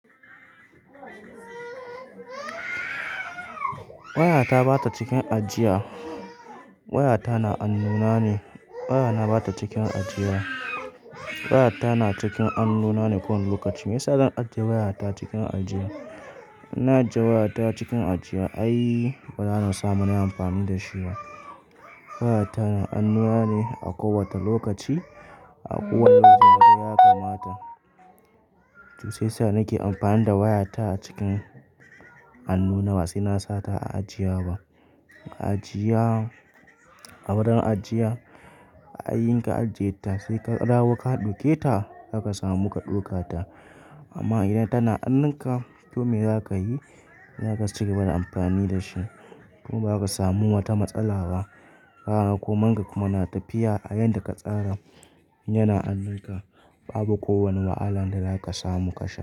Wayata ba ta cikin ajiya. Wayata na hannu na ne. Wayana ba ta cikin ajiya. Wayata na cikin hannu na ne kowane lokaci. Me yasa zan ajiye wayata cikin ajiya? In na ajiye wayata cikin ajiya ai, bana samun nayi amfani da shi ba. Wayata na annuna ne a kowace lokaci. A kowane lokaci ma dai ya kamata. To sai sa nake amfani da wayata a cikin hannu na, ba sai na sa ta a ajiya ba. Ajiya, a wurin ajiya, a yayin ka ajiye ta sai ka dawo ka ɗauke ta, zaka samu ka ɗauka ta. Amma idan tana hannun ka, komai zaka yi, zaka cigaba da amfani da shi. Kuma ba za ka samu wata matsala ba. Haka kuma, ka kuma na tafiya a yanda ka tsara. Yana hannun ka, babu kowane wahala da zaka samu ka sha.